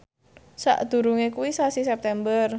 sakdurunge kuwi sasi September